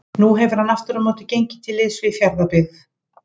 Nú hefur hann aftur á móti gengið til liðs við Fjarðabyggð.